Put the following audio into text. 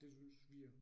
Det synes vi